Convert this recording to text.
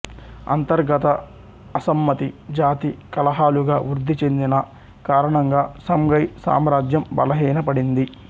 అంతర్గత అసమ్మతి జాతి కలహాలుగా వృద్ధిచెందిన కారణంగా సంఘై సామ్రాజ్యం బలహీన పడింది